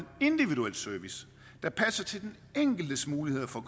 individuel service der passer til den enkeltes muligheder for